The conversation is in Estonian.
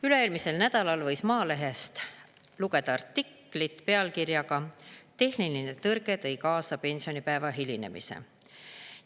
Üle-eelmisel nädalal võis Maalehest lugeda artiklit pealkirjaga "Tehniline tõrge tõi kaasa pensionipäeva hilinemise".